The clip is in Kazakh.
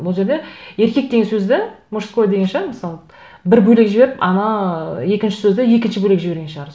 бұл жерде еркек деген сөзді мужской деген шығар мысалы бір бөлек жіберіп ана екінші сөзді екінші бөлек жіберген шығар